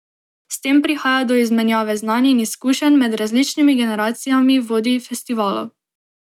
S tem prihaja do izmenjave znanj in izkušenj med različnimi generacijami vodij festivalov.